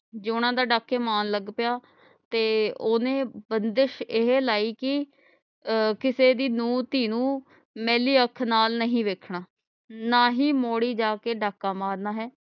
ਜਯੋਨਾ ਤਾਂ ਡਾਕੇ ਮਾਰ ਲਗ ਪਿਆ ਤੇ ਓਹਨੇ ਬੰਦਿਸ਼ ਇਹ ਲਾਈ ਕਿ ਅਹ ਕਿਸੇ ਦੀ ਨੂੰਹ ਧੀ ਨੂੰ ਮੈਲੀ ਅਖ ਨਾਲ ਨਹੀਂ ਵੇਖਣਾ ਨਾ ਹੀ ਮੋੜੀ ਜਾਕੇ ਡਾਕਾ ਮਾਰਨਾ ਹੈ।